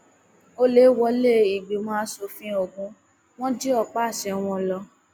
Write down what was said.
ọlẹ wọlé ìgbìmọ asòfin ogun wọn jí ọpá àṣẹ wọn lọ